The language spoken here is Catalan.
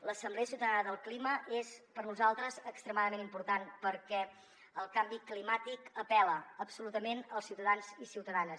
l’assemblea ciutadana del clima és per a nosaltres extremadament important perquè el canvi climàtic apel·la absolutament els ciutadans i ciutadanes